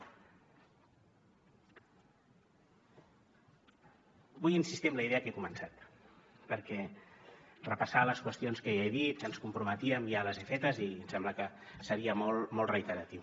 vull insistir en la idea que he començat perquè repassar les qüestions que ja he dit a què ens comprometíem ja ho he fet i em sembla que seria molt reiteratiu